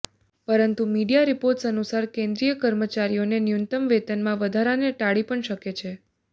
પરંતુ media reports અનુસાર કેન્દ્રીય કર્મચારીઓને ન્યૂનતમ વેતનમાં વધારાને ટાળી પણ શકે છે